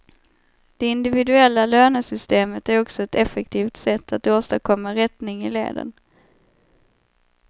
Det individuella lönesystemet är också ett effektivt sätt att åstadkomma rättning i leden.